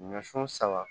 Ɲɔsun saba